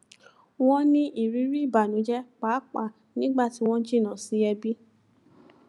wọn ní ìrírí ìbànújẹ pàápàá nígbà tí wọn jìnnà sí ẹbí